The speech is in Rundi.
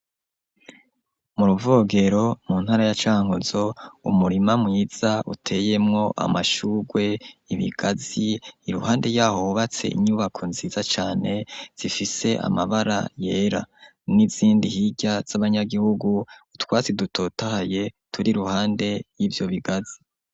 mu Ruvogero, mu ntara ya Cankuzo, umurima mwiza, uteyemwo amashurwe, ibigazi; iruhande y'aho, hubatse inyubako nziza cane, zifise amabara yera, n'izindi hirya, z'abanyagihugu; utwatsi dutotahaye turi iruhande y'ivyo bigazi.